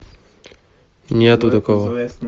нету такого